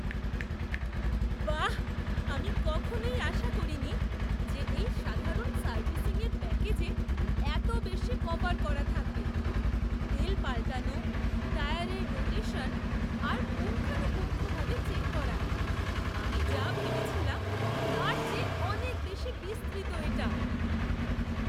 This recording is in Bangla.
বাহ্, আমি কখনই আশা করিনি যে এই সাধারণ সার্ভিসিংয়ের প্যাকেজে এত বেশি কভার করা থাকবে। তেল পালটানো, টায়ারের রোটেশন আর পুঙ্খানুপুঙ্খভাবে চেক করা। আমি যা ভেবেছিলাম তার চেয়ে অনেক বেশি বিস্তৃত এটা!